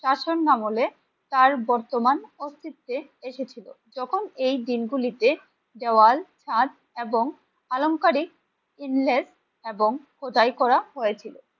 শাসন আমলে তার বর্তমান অস্তিত্বে এসেছিলো। যখন এই দিনগুলিতে দেওয়াল সাজ এবং আলংকারিক ইনলেস এবং খোদাই করা হয়েছিল